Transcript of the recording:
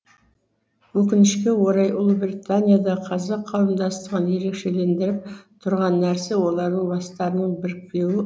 өкінішке орай ұлыбританиядағы қазақ қауымдастығын ерекшелендіріп тұрған нәрсе олардың бастарының бірікпеуі